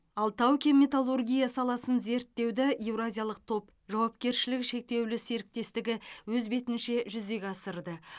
ал тау кен металлургия саласын зерттеуді еуразиялық топ жауапкершілігі шектеулі серіктестігі өз бетінше жүзеге асырды